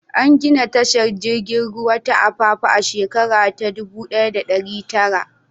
An gina tashar jiragen ruwa ta Apapa a shekara ta 1900.